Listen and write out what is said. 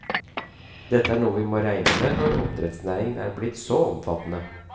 Dette er noe vi må regne med når oppdrettsnæringen er blitt så omfattende.